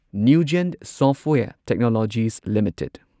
NuGen software technologies limited